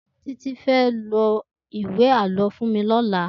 Titi fè rà iwé àlõ fún mì lòlà